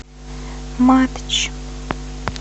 матч